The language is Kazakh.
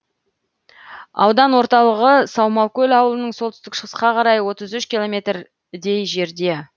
аудан орталығы саумалкөл ауылынан солтүстік шығысқа қарай отыз үш километрдей жерде